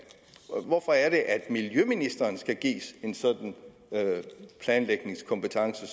hvorfor er det at miljøministeren skal gives en sådan planlægningskompetence